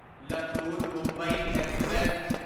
Latur Mumbai express